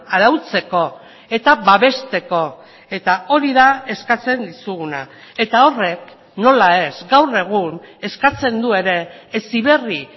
arautzeko eta babesteko eta hori da eskatzen dizuguna eta horrek nola ez gaur egun eskatzen du ere heziberri